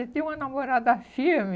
Ele tem uma namorada firme.